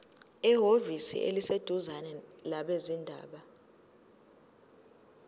ehhovisi eliseduzane labezindaba